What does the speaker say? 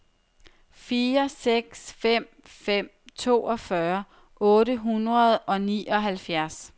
fire seks fem fem toogfyrre otte hundrede og nioghalvfjerds